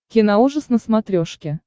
киноужас на смотрешке